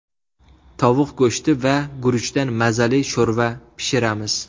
Tovuq go‘shti va guruchdan mazali sho‘rva pishiramiz.